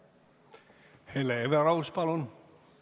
Hele Everaus, palun!